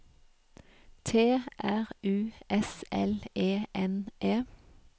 T R U S L E N E